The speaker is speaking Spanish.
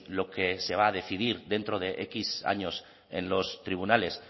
lo que se va a decidir dentro de x años en los tribunales